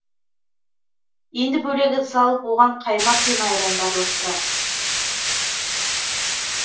енді бөлек ыдыс алып оған қаймақ пен айранды араластырамыз